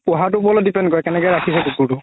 পোহাতোৰ ওপৰত depend কৰে কেনেকে ৰাখিছে কুকুৰতো